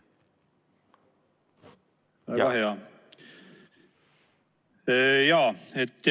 Kuuleme kenasti.